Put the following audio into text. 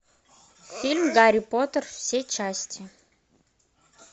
фильм гарри поттер все части